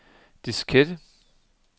diskette